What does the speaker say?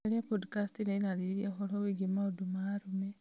caria pondicasti iria irarĩrĩria ũhoro wĩgiĩ maũndũ ma arũme